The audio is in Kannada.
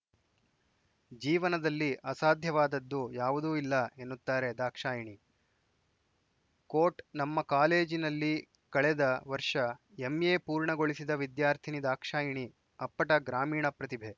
ಜೀವನದಲ್ಲಿ ಅಸಾಧ್ಯವಾದದ್ದು ಯಾವುದೂ ಇಲ್ಲ ಎನ್ನುತ್ತಾರೆ ದಾಕ್ಷಾಯಿಣಿ ಕೋಟ್‌ ನಮ್ಮ ಕಾಲೇಜಿನಲ್ಲಿ ಕಳೆದ ವರ್ಷ ಎಂಎ ಪೂರ್ಣಗೊಳಿಸಿದ ವಿದ್ಯಾರ್ಥಿನಿ ದಾಕ್ಷಾಯಿಣಿ ಅಪ್ಪಟ ಗ್ರಾಮೀಣ ಪ್ರತಿಭೆ